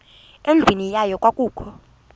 endlwini yayo kwakukho